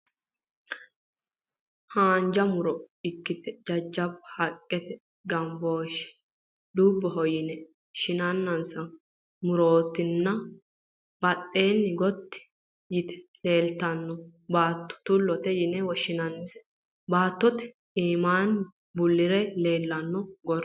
Haanja mu'ro ikkite jajjabba haqqete gambooshshe dubboho yine shinanninsa murootinna badheenni gotti yite leeltanno baatto tullote yine woshshinannise baattootinna iimmaanni bullire leellanohu gordoho.